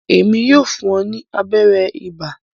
Emi yóò fún o ni abẹrẹ iba.